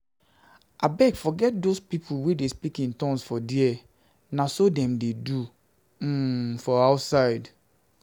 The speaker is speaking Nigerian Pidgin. Abegii forget doz people wey dey speak in tongues for there, na so dem dey do um for outside for outside